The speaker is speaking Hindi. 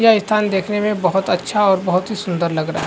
यह स्थान देखने मैं बहौत अच्छा और बहौत ही सुंदर लग रहा है।